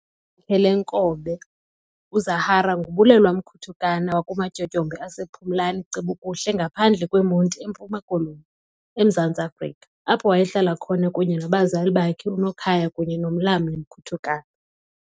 Igama lakhe leenkobe uZahara nguBulelwa Mkutukana wakumatyotyombe asePhumlani cebu nje ngaphandle kweMonti eMpuma Koloni, eMzantsi Afrika, apho wayehlala khona kunye nabazali bakhe uNokhaya kunye noMlamli Mkutukana.